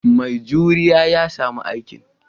Mai juriya ya sami aikin.